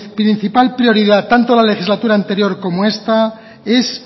principal prioridad tanto la legislatura anterior como esta es